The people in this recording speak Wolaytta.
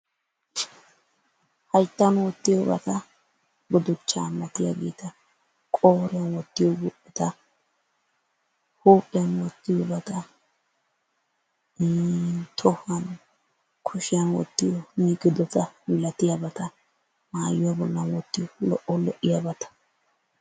hattan woottiyoobata guduchchaa malatiyaageta, qooriyaan wottiyoobata, huuphphiyaan wottiyoobata, ii tohuwaan kuushiyaan wottiyoo miigidota malatiyaabata mayuwaa bollan wottiyoo lo"o lo"iyaabata.